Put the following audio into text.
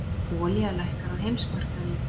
Olía lækkar á heimsmarkaði